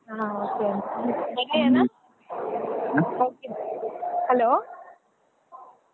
ಹಾ hello .